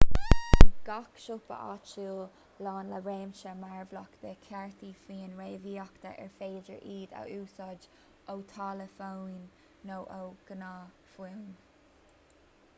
bíonn gach siopa áitiúil lán le réimse mearbhlach de chártaí fóin réamhíoctha ar féidir iad a úsáid ó tháillefóin nó ó ghnáthfhóin